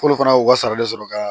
K'olu fana u ka sara de sɔrɔ ka